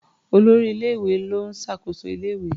Olórí ilé-ìwé ló ń ṣàkóso ilé-ìwé.